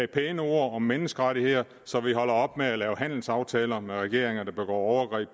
pæne ord om menneskerettigheder så vi holder op med at lave handelsaftaler med regeringer der begår overgreb